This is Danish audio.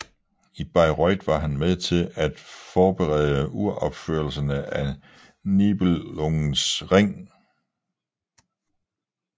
I Bayreuth var han med til at forberede uropførelserne af Nibelungens Ring